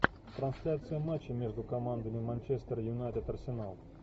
трансляция матча между командами манчестер юнайтед арсенал